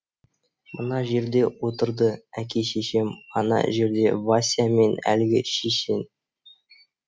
мына жерде отырды әке шешем ана жерде вася мен әлгі шешен